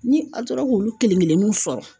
Ni a tora k'olu kelen kelen sɔrɔ